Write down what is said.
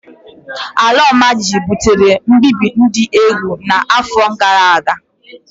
Ala imajiji butere mbibi dị egwu n'afọ gara aga.